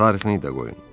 Tarixini də qoyun.